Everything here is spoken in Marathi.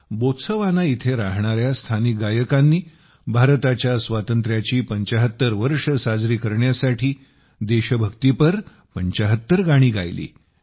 बोत्सवाना येथे राहणाऱ्या स्थानिक गायकांनी भारताच्या स्वातंत्र्याची 75 वर्षे साजरी करण्यासाठी देशभक्तीपर 75 गाणी गायली